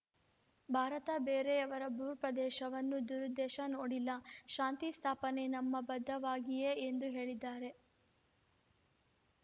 ಭಾರತ ಬೇರೆಯವರ ಭೂ ಪ್ರದೇಶವನ್ನು ದುರುದ್ದೇಶ ನೋಡಿಲ್ಲ ಶಾಂತಿ ಸ್ಥಾಪನೆ ನಮ್ಮ ಬದ್ಧತೆಯಾಗಿಯೆ ಎಂದು ಹೇಳಿದ್ದಾರೆ